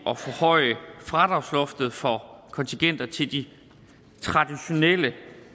at forhøje fradragsloftet for kontingenter til de traditionelle